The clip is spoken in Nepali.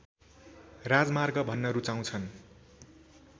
राजमार्ग भन्न रूचाउँछन्